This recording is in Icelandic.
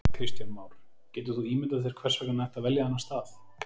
Kristján Már: Getur þú ímyndað þér hvers vegna hann ætti að velja þennan stað?